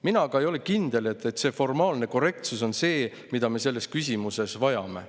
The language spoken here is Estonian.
Mina aga ei ole kindel, et formaalne korrektsus on see, mida me selles küsimuses vajame.